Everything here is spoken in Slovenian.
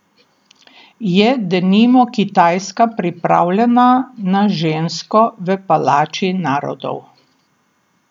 Je denimo Kitajska pripravljena na žensko v Palači narodov?